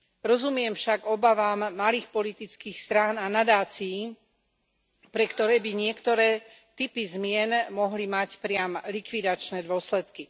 Rozumiem však obavám malých politických strán a nadácií, pre ktoré by niektoré typy zmien mohli mať priam likvidačné dôsledky.